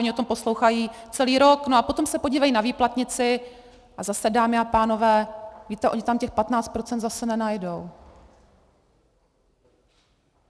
Oni o tom poslouchají celý rok, a potom se podívají na výplatnici a zase, dámy a pánové, víte, oni tam těch 15 % zase nenajdou.